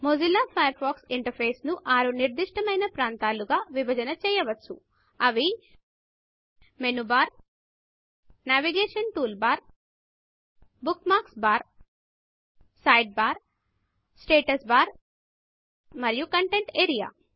Mozilla Firefox ఇంటర్ఫేస్ను 6 నిర్దిష్టమైన ప్రాంతాలుగా విభజన చేయవచ్చు అవి menu bar navigation tool bar bookmarks bar side bar status bar మరియు కంటెంట్ ఏరియా